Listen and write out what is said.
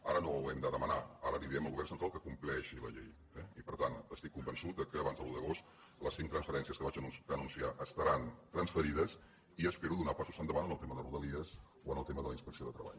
ara no ho hem de demanar ara li direm al govern central que compleixi la llei eh i per tant estic convençut que abans de l’un d’agost les cinc transferències que vaig anunciar estaran transferides i espero donar passos endavant en el tema de rodalies o en el tema de la inspecció de treball